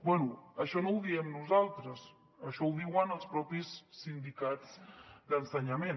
bé això no ho diem nosaltres això ho diuen els mateixos sindicats d’ensenyament